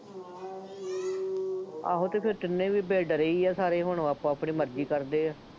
ਆਹੋ ਅਤੇ ਫੇਰ ਤਿੰਨੇ ਵੀ ਬੇ-ਡਰੇ ਹੀ ਸਾਰੇ, ਹੁਣ ਉਹ ਆਪੋ ਆਪਣੀ ਮਰਜ਼ੀ ਕਰਦੇ ਆ,